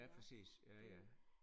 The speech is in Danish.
Ja præcis ja ja